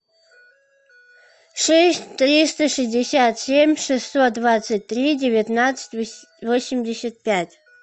шесть триста шестьдесят семь шестьсот двадцать три девятнадцать восемьдесят пять